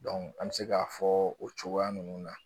an bɛ se k'a fɔ o cogoya ninnu na